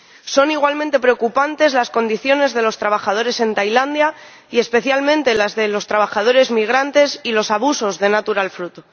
Son igualmente preocupantes las condiciones de los trabajadores en Tailandia y especialmente las de los trabajadores migrantes y los abusos de Natural Fruit.